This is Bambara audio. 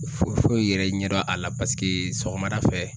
Foyi foyi yɛrɛ ɲɛdɔn a la paseke sɔgɔmada fɛ